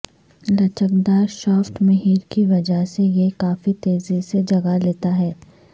لچکدار شافٹ مہر کی وجہ سے یہ کافی تیزی سے جگہ لیتا ہے